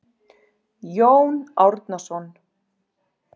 Jón Árnason.